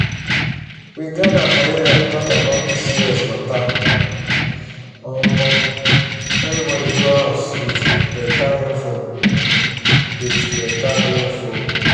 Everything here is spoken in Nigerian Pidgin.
we gather for area talk about pcos matteromo everybody go huz with better info. with better info.